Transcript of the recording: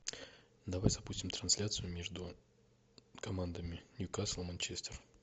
давай запустим трансляцию между командами ньюкасл манчестер